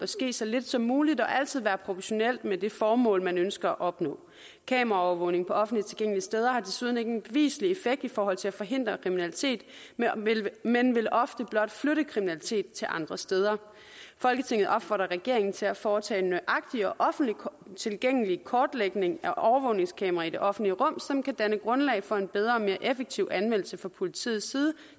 ske så lidt som muligt og altid være proportional med det formål man ønsker at opnå kameraovervågning på offentligt tilgængelige steder har desuden ikke en beviselig effekt i forhold til at forhindre kriminalitet men vil ofte blot flytte kriminalitet til andre steder folketinget opfordrer regeringen til at foretage en nøjagtig og offentligt tilgængelig kortlægning af overvågningskameraer i det offentlige rum som kan danne grundlag for en bedre og mere effektiv anvendelse fra politiets side